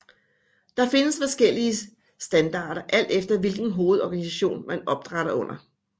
Der findes forskellige standarder alt efter hvilken hovedorganisation man opdrætter under